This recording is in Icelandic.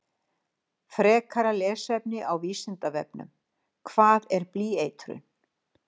Frekara lesefni á Vísindavefnum Hvað er blýeitrun?